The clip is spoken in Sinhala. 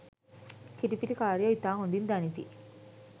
කිරි පිටි කාරයෝ ඉතා හොඳින් දනිති